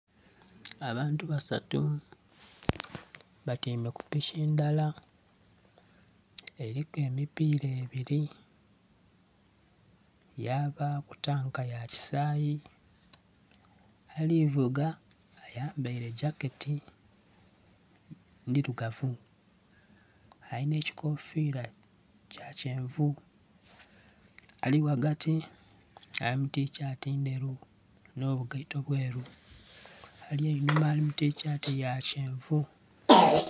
Abantu basatu batyaime ku piki ndala. Eliku emipiira ebiri yabaaku tanka ya kyisayi. Ali vuga ayambaile jaketi ndilugavu alina ekikofira kya kyenvu. Ali ghagati ali mu tishati ndheru nh'obugaito bweru. Ali enhuma ali mu tishati ya kyenvu